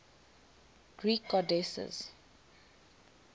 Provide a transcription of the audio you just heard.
greek goddesses